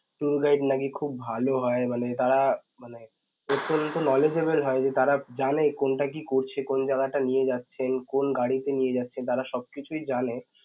tour guide নাকি খুব ভালো হয় মানে তারা মানে অত্যন্ত knowledgeable হয়, যে তারা জানে কোনটা কি করছে, কোন জায়গাটায় নিয়ে যাচ্ছে and কোন গাড়িতে নিয়ে যাচ্ছে, তারা সবকিছুই জানে.